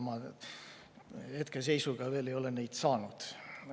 Ma hetkeseisuga ei ole neid veel saanud.